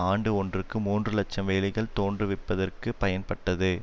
ஆண்டு ஒன்றுக்கு மூன்று இலட்சம் வேலைகள் தோன்றுவிப்பதற்கும் பயன்பட்டது